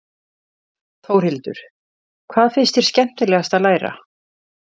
Þórhildur: Hvað finnst þér skemmtilegast að læra?